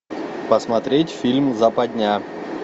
посмотреть фильм западня